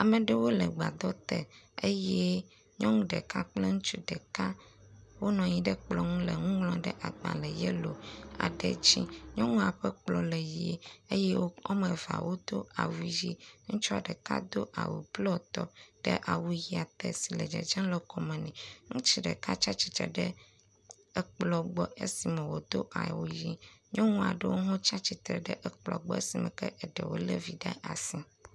Ame aɖewo le gbadɔ te eye nyɔnu ɖeka kple ŋutsu ɖeka wonɔ anyi ɖe kplɔ ŋu le nu ŋlɔm ɖe agbale yelo aɖe dzi. nyɔnua ƒe kplɔ le ʋi eye wo ame evea wodo awu ʋi. Ŋutsua ɖeka do awu blɔtɔ ɖe awu ʋia te si le dzedzem le kɔme nɛ. Ŋutsua ɖeka tsi stitre ɖe ekplɔ gbɔ esi me wodo awu ʋi. nyɔnu aɖewo hã tsi atsitre ɖe ekplɔ gbɔ esime eɖewo le evi ɖe asi.